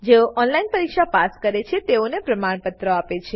જેઓ ઓનલાઈન પરીક્ષા પાસ કરે છે તેઓને પ્રમાણપત્રો આપે છે